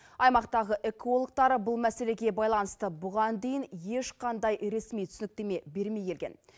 аймақтағы экологтар бұл мәселеге байланысты бұған дейін ешқандай ресми түсініктеме бермей келген